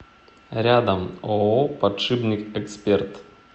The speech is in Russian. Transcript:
рядом ооо подшипник эксперт